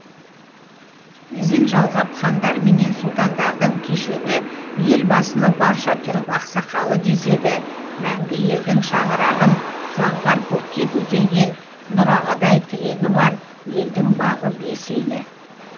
ізін жалғап хандарменен сұлтандардың кешегі елбасыны барша түрік ақсақалы деседі мәңгі елдің шаңырағын заңғар көкке көтерген нұр ағадай тірегі бар елдің бағы бес елі